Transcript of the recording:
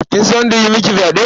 Kin san wanda ya yi miki fyaɗen?